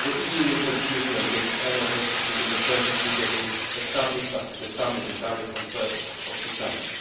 The EU will continue to engage energetically in the Friends of Libya Group established after the summit in Paris on 1 September.